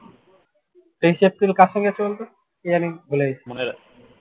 তেইশ april কার সঙ্গে আছে বলতো কী জানি ভুলে গেছি